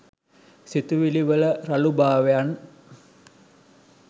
සිතුවිලිවල රළුභාවයන්